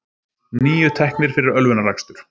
Níu teknir fyrir ölvunarakstur